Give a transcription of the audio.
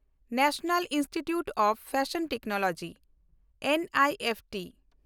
national Institute of Fashion Technology (NIFT)